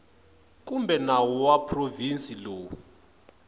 kumbe nawu wa provinsi lowu